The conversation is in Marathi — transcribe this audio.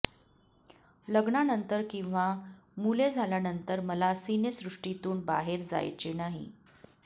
लग्नानंतर किंवा मुले झाल्यानंतर मला सिनेसृष्टीतून बाहेर जायचे नाही